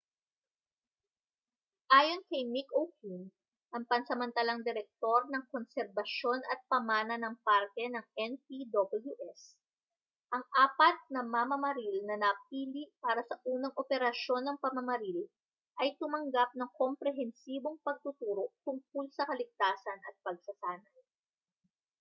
ayon kay mick o'flynn ang pansamatalang direktor ng konserbasyon at pamana ng parke ng npws ang apat na mamamaril na napili para sa unang operasyon ng pamamaril ay tumanggap ng komprehensibong pagtuturo tungkol sa kaligtasan at pagsasanay